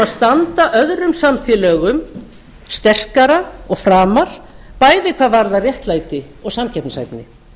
standa öðrum samfélögum sterkar og framar bæði hvað varðar réttlæti og samkeppnishæfni